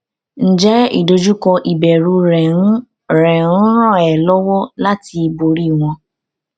ǹjẹ ìdojúkọ ìbẹrù rẹ ń rẹ ń ràn ẹ lọwọ láti borí wọn